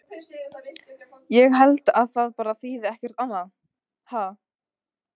Ég held að það bara þýði ekkert annað, ha?